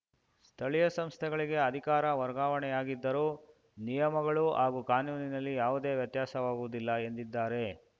ಸ್ಥಳೀಯ ಸಂಸ್ಥೆಗಳಿಗೆ ಅಧಿಕಾರ ವರ್ಗಾವಣೆಯಾಗಿದ್ದರೂ ನಿಯಮಗಳು ಹಾಗೂ ಕಾನೂನಿನಲ್ಲಿ ಯಾವುದೇ ವ್ಯತ್ಯಾಸವಾಗುವುದಿಲ್ಲ ಎಂದಿದ್ದಾರೆ